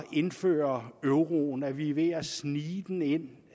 indføre euroen at vi er ved at snige den ind